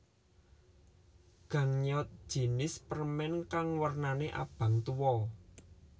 Gangnyeot jinis permen kang wernane abang tuwa